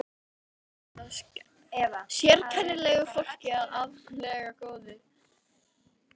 Dálítið var þar af sérkennilegu fólki en ákaflega góðu.